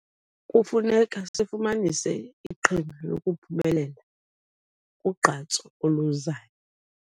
Kufuneka sifumanise iqhinga lokuphumelela kugqatso oluzayo.